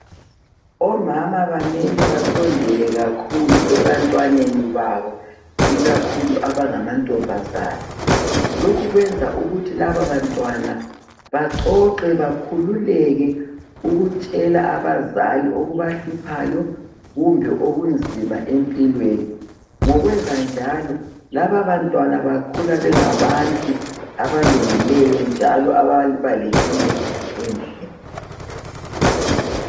Omama bamele basondele kakhulu ebantwaneni babo ikakhulu abangama ntombazana .Lokhu kwenza ukuthi lababantwana baxoxe bakhululeke ukutshela abazali okubahluphayo kumbe okunzima empilweni .Ngokwenza njalo lababantwana bakhula bengabantu abalungileyo njalo ababa lempilo enhle .